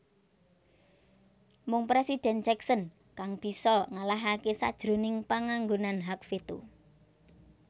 Mung Presiden Jackson kang bisa ngalahake sajroning panganggonan hak veto